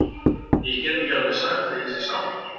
Ég get ekki alveg sagt að ég sé sáttur.